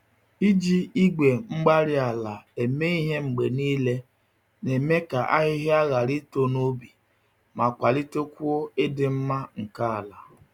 Iji igwe-mgbárí-ala eme ihe mgbe niile na-eme ka ahịhịa hàrà ito n'ubi ma kwalitekwuo ịdị mma nke àlà.